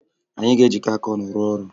Anyị ga-ejikọ aka ọnụ rụọ ọrụ